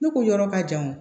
Ne ko yɔrɔ ka jan wo